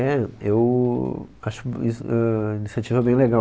É, eu acho um a is, a iniciativa bem legal.